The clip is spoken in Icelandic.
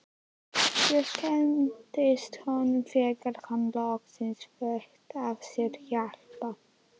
Ég kynntist honum þegar hann loksins leitaði sér hjálpar.